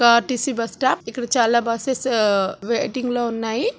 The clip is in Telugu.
ఆర్_టి_సి బస్స్టాప్ ఇక్కడ చాలా బస్సేస్ వెయిటింగ్ లో ఉన్నాయి.